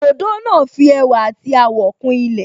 Òdòdó náà fi ẹwà àti àwọ̀ kún ilẹ̀